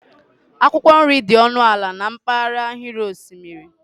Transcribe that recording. akwụkwọ nri dị ọnụ ala na mpaghara ahịrị osimiri